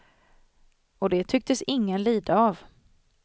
Och det tycktes ingen lida av.